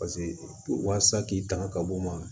Paseke waasa k'i tanga ka bɔ ma